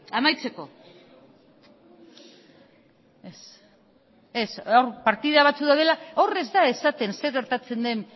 amaitzeko hor partidu batzuk daude hor ez da esaten zer gertatzen den